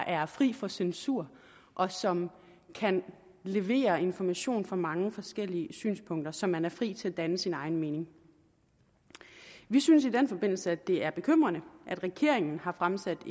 er fri for censur og som kan levere information på mange forskellige synspunkter så man er fri til at danne sig sin egen mening vi synes i den forbindelse at det er bekymrende at regeringen har fremsat